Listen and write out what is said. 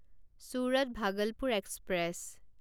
Surat Bhagalpur express